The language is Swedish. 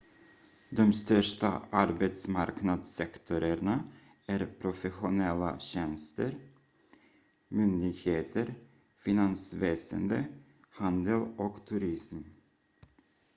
de största arbetsmarknadssektorerna är professionella tjänster myndigheter finansväsende handel och turism